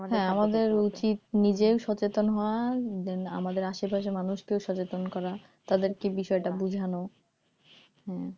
হ্যাঁ আমাদের উচিত নিজেও সচেতন হওয়া আর আমাদের আশেপাশের মানুষকেও সচেতন করা তাদেরকে বিষয়টা বুঝানো হ্যাঁ